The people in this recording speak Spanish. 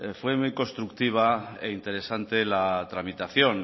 fue muy constructiva e interesante la tramitación